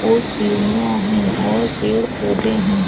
और सीढियाँ है और पेड़-पौधे है।